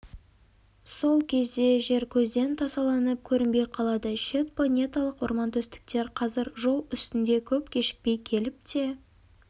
сол кезде жер көзден тасаланып көрінбей қалады шет планеталық-ормантөстіктер қазір жол үстінде көп кешікпей келіп те